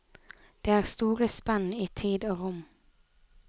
Det er store spenn i tid og rom.